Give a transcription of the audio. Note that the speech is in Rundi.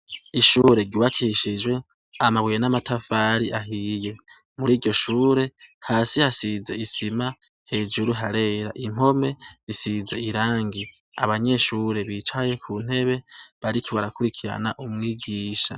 Ishure giwakishijwe amabuye n'amatafari ahiye muri ryo shure hasi hasize isima hejuru harera impome isize irangi abanyeshure bicaye ku ntebe bariki barakurikirana umwigisha.